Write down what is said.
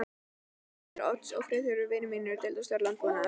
Bræður Odds eru Friðþjófur vinur minn, deildarstjóri í landbúnaðarráðuneytinu